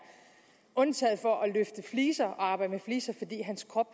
undtaget for at løfte fliser og arbejde med fliser fordi hans krop